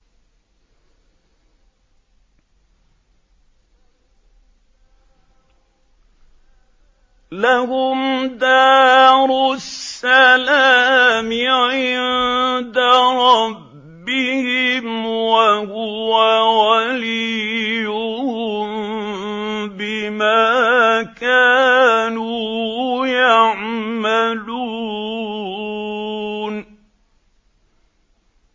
۞ لَهُمْ دَارُ السَّلَامِ عِندَ رَبِّهِمْ ۖ وَهُوَ وَلِيُّهُم بِمَا كَانُوا يَعْمَلُونَ